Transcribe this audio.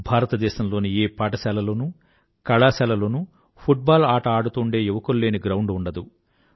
భారతదేశం లోని ఏ పాఠశాలలోనూ కళాశాల లోనూ ఫుట్ బాల్ ఆట ఆడుతూండే యువకులు లేని గ్రౌండ్ ఉండదు